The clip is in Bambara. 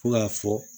Fo k'a fɔ